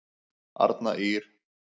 Arna Ýrr.